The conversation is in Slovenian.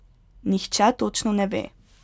Nihče točno ne ve.